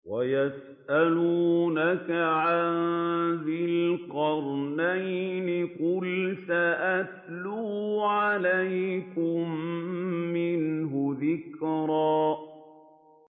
وَيَسْأَلُونَكَ عَن ذِي الْقَرْنَيْنِ ۖ قُلْ سَأَتْلُو عَلَيْكُم مِّنْهُ ذِكْرًا